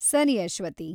ಸರಿ ಅಶ್ವತಿ.